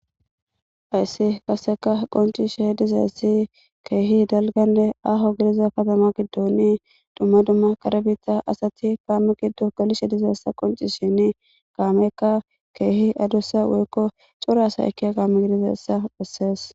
Hayis qaseka qoncises de'izayis kehi ahone daliga kataman gidon duma duma kare bitta asati kamey gido gelishe dizayisa qonicisishin kameyka kehi adusa woyiko coora asa ekeya kame gididayisa beses